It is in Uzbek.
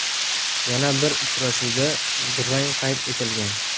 Yana bir uchrashuvda durang qayd etilgan.